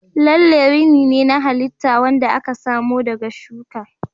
Lalle rini ne na halitta wanda aka samo daga shuka.